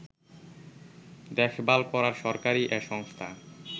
দেখভাল করার সরকারী এ সংস্থা